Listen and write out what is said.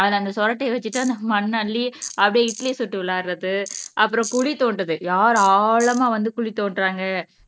அதுல அந்த சொறட்டியை வச்சுட்டு அந்த மண் அள்ளி அப்படியே இட்லி சுட்டு விளையாடுறது அப்புறம் குழி தோண்டுது யார் ஆழமா வந்து குழி தோண்டுறாங்க